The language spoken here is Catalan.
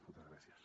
moltes gràcies